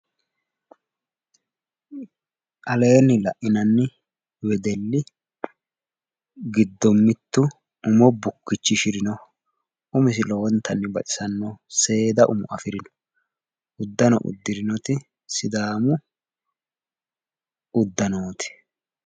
Aleenni la'inanni wedelli giddo mittu umo bukkichishirinoho. Uminsi lowontanni baxisannoho. Seeda umo afirino. Uddano uddirinoti sidaamu uddanooti.